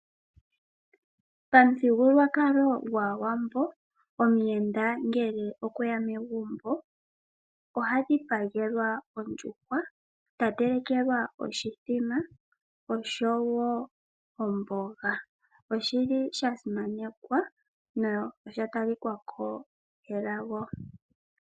Pamuthigululwakalo gwaAwambo omuyenda ngele okweya megumbo oha dhipagelwa ondjuhwa ta telekelwa oshithima oshowo omboga. Oshi li sha simanekwa nosha talika ko elago.